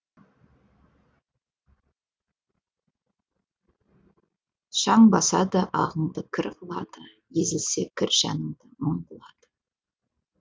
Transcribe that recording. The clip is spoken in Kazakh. шаң басады ағыңды кір қылады езілсе кір жаныңды мұң қылады